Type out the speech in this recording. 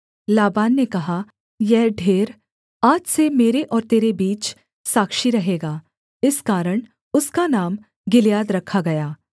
लाबान ने कहा यह ढेर आज से मेरे और तेरे बीच साक्षी रहेगा इस कारण उसका नाम गिलियाद रखा गया